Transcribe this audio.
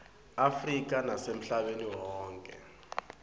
afrika nasemhlabeni wonkhe